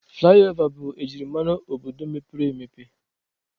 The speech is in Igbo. Flayova bụ ejimara obodo mepere emepe